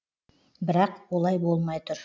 бірақ олай болмай тұр